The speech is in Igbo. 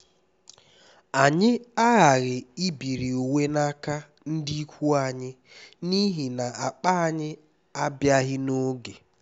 anyị aghaghị ibiri uwe n’aka ndị ikwu anyị n’ihi na akpa anyị abịaghị n’oge